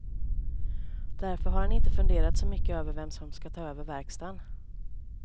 Därför har han inte funderat så mycket över vem som skall ta över verkstaden.